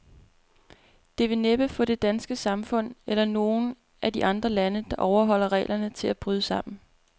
Det vil næppe få det danske samfund, eller nogen af de andre lande, der overholder reglerne, til at bryde sammen.